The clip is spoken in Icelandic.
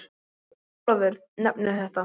Ólafur nefnir þetta